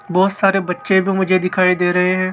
बहोत सारे बच्चे भी मुझे दिखाई दे रहे हैं।